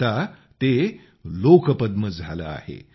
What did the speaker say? आता ते लोकपद्म झाले आहे